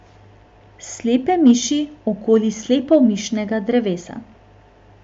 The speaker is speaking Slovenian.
Slepe miši okoli Slepomišnega drevesa.